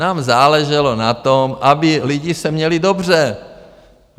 Nám záleželo na tom, aby lidi se měli dobře.